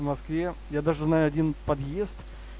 в москве я даже знаю один подъезд